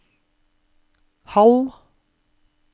halv